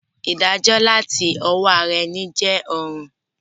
Ìdájó làti owó ara eni je òràn